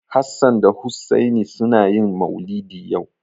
Hassan da Hussaini suna yin maulidi yau.